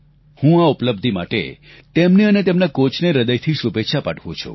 હું આ ઉપલબ્ધિ માટે તેમને અને તેમના કોચને હૃદયથી શુભેચ્છા પાઠવું છું